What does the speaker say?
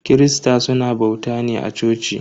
Kirista suna bauta ne a coci.